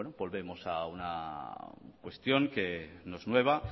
volvemos a una cuestión que no es nueva